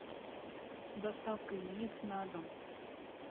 доставка яиц на дом